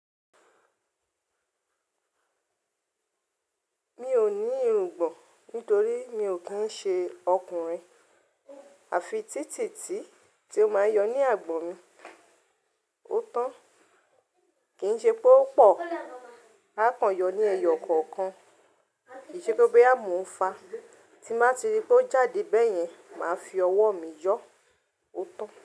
Mi ò ní irùngbọ̀n nítorí mi ò kí ṣe ọkùnrin. Àfi títì tí tí ó máa yọ ní àgbò mi, ó tán. Kì í ṣe pé ó pọ̀, a kàn yọ ní ẹyọ kọ̀ọ̀kan. Kì í ṣe pé ó bo yà mo ń fa. Tí bàá ti rí pé ó jáde bẹ́ẹ̀ yẹn, màá fi ọwọ́ mi yọ ó tán.